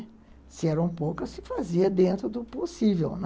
Se eram poucas, se fazia dentro do possível, né?